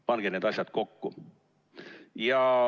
Pange need asjad kokku.